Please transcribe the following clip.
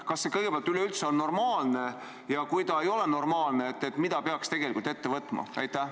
Kas see kõigepealt üleüldse on normaalne ja kui ei ole normaalne, siis mida peaks ette võtma?